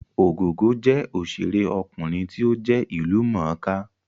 Ògògó jẹ́ òṣèré ọkùnrin tí ó jẹ́ ìlú mọ̀ọ́ kà